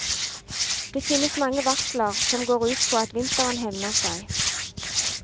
Det finnes mange varsler som går ut på at vinteren hevner seg.